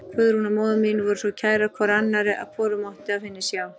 Guðrún og móðir mín voru svo kærar hvor annarri að hvorug mátti af hinni sjá.